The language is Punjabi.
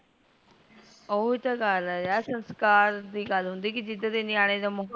ਓਹੀ ਤ ਗੱਲ ਹੈ ਯਾਰ ਸੰਸਕਾਰ ਦੀ ਗੱਲ ਹੁੰਦੀ ਕੀ ਜਿੱਦ ਦੀ ਨੇਆਣੇ ਦਾ